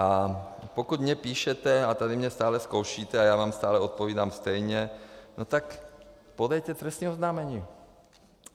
A pokud mně píšete a tady mě stále zkoušíte a já vám stále odpovídám stejně, no tak podejte trestní oznámení.